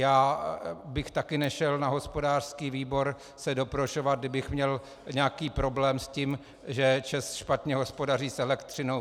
Já bych také nešel na hospodářský výbor se doprošovat, kdybych měl nějaký problém s tím, že ČEZ špatně hospodaří s elektřinou.